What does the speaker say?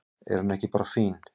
Er hún ekki bara fín?